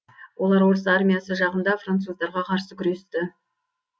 олар орыс армиясы жағында француздарға қарсы күресті